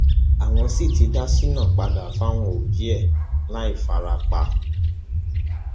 àwọn sì ti dá shina padà fáwọn òbí ẹ láì fara pa